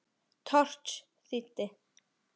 Thors þýddi.